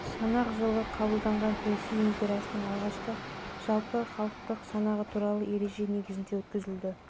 санақ жылы қабылданған ресей империясының алғашқы жалпыхалықтық санағы туралы ереже негізінде өткізілді